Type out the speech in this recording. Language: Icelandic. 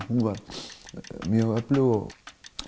hún var mjög öflug